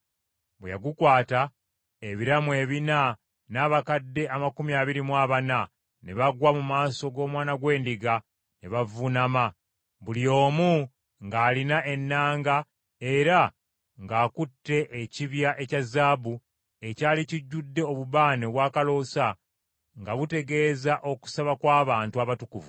Bwe yagukwata, ebiramu ebina n’abakadde amakumi abiri mu abana, ne bagwa mu maaso g’Omwana gw’Endiga ne bavuunama, buli omu ng’alina ennanga era ng’akutte ekibya ekya zaabu, ekyali kijjudde obubaane obwakaloosa nga butegeeza okusaba kw’abantu abatukuvu.